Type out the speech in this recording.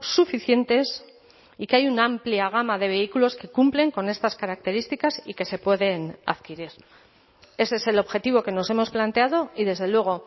suficientes y que hay una amplia gama de vehículos que cumplen con estas características y que se pueden adquirir ese es el objetivo que nos hemos planteado y desde luego